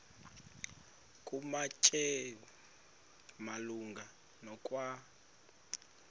kumateyu malunga nokwa